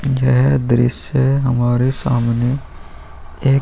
यह दृश्य हमारे सामने एक --